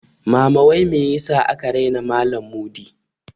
Mama wai me yasa aka raina malan Mudi?